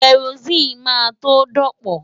Kẹrosíìnì máa tó dọ̀pọ̀.